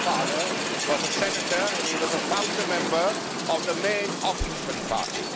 My grandfather was a senator and he was a founder member of the main opposition party.